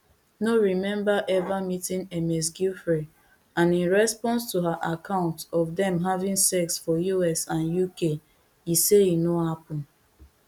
no remember ever meeting ms giuffre and in response to her account of dem having sex for us and uk e say e no happen